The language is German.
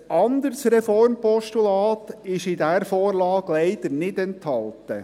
Ein anderes Reformpostulat ist in dieser Vorlage leider nicht enthalten.